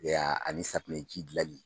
Ee ani safunɛji dilanli